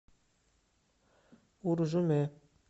уржуме